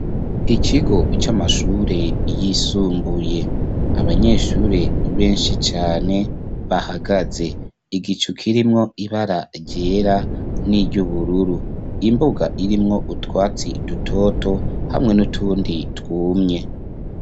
Ikigo c'amashure yisumbuye abanyeshure benshi cane bahagaze igicu kirimwo ibaragera n'iry'ubururu imbuga irimwo utwatsi dutoto hamwe n'utundi twumye.